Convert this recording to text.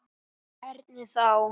Hvernig þá?